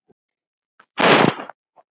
Fríða frænka hefur kvatt.